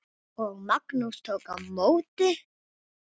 Og Magnús tók á móti?